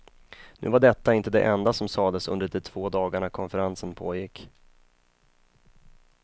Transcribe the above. Nu var detta inte det enda som sades under de två dagarna konferensen pågick.